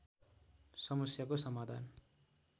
समस्याको समाधान